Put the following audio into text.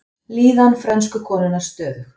Líðan frönsku konunnar stöðug